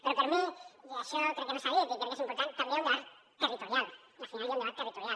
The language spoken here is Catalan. però per mi i això crec que no s’ha dit i crec que és important també hi ha un debat territorial al final hi ha un debat territorial